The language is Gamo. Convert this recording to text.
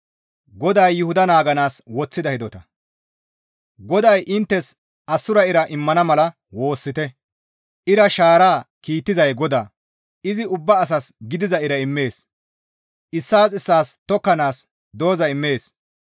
GODAY inttes assura ira immana mala woossite. Ira shaara kiittizay GODAA; izi ubbaa asas gidiza ira immees; issaas issaas tokkanaas dooza immees.